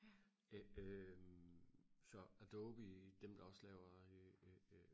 øh så adobe dem der også laver øh